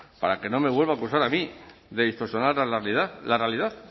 para que no me vuelva a acusar a mí de distorsionar la realidad